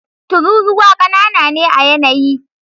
Tururuwa ƙanana ne a yanayi.